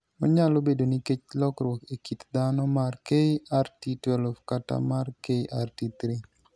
Onyalo bedo nikech lokruok e kit dhano mar KRT12 kata mar KRT3.